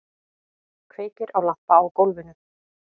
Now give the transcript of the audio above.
Kveikir á lampa á gólfinu.